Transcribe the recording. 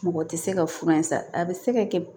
Mɔgɔ tɛ se ka fura in san a bɛ se ka kɛ